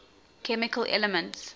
chemical elements